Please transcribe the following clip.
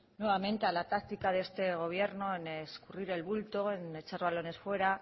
nuevamente táctica de este gobierno en escurrir el bulto en echar balones fuera